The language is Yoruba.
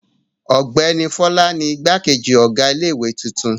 Ọ̀gbẹ́ni Fọlá ni igbákejì ọ̀gá ilé-ìwé tuntun.